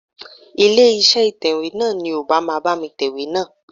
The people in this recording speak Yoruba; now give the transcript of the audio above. Ilé iṣẹ́ ìtẹ̀wẹ́ náà ni ó máa bá mi ta ìwé náà.